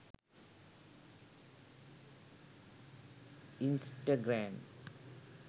instagram